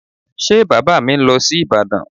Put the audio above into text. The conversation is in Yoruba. Ṣé Bàbá mi ń lọ sí Ìbàdàn?